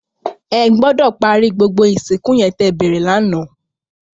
Ègbòdò pàri gbógbó étó isinkú yèn tè bèrè làná